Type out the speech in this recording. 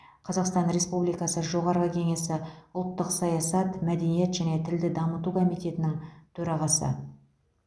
қазақстан республикасы жоғарғы кеңесі ұлттық саясат мәдениет және тілді дамыту комитетінің төрағасы